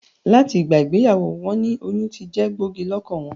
Làti ìgbà ìgbeyàwó won ni oyún tijé gbògí lókàn won